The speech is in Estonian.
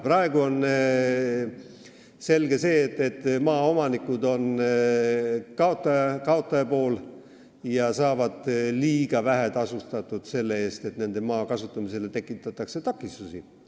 Praegu on selge see, et maaomanikud on kaotaja pool ja saavad liiga vähe tasu selle eest, et nende maa kasutamisele tekitatakse takistusi.